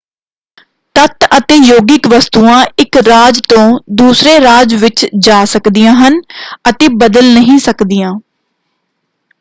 ਤੱਤ ਅਤੇ ਯੋਗਿਕ ਵਸਤੂਆਂ ਇਕ ਰਾਜ ਤੋਂ ਦੂਸਰੇ ਰਾਜ ਵਿੱਚ ਜਾ ਸਕਦੀਆਂ ਹਨ ਅਤੇ ਬਦਲ ਨਹੀਂ ਸਕਦੀਆਂ।